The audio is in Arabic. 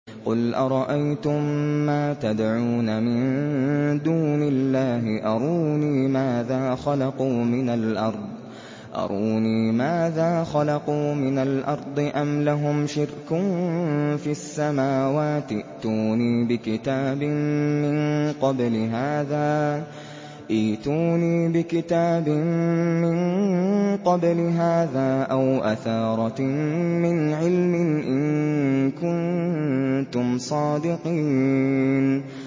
قُلْ أَرَأَيْتُم مَّا تَدْعُونَ مِن دُونِ اللَّهِ أَرُونِي مَاذَا خَلَقُوا مِنَ الْأَرْضِ أَمْ لَهُمْ شِرْكٌ فِي السَّمَاوَاتِ ۖ ائْتُونِي بِكِتَابٍ مِّن قَبْلِ هَٰذَا أَوْ أَثَارَةٍ مِّنْ عِلْمٍ إِن كُنتُمْ صَادِقِينَ